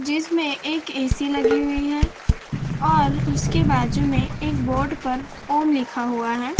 जिसमें एक ए_सी लगी हुई है और उसके बाजू में एक बोर्ड पर ओम लिखा हुआ है।